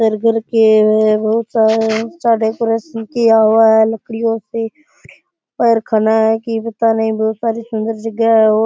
decoration किया हुआ है लकड़ियों से --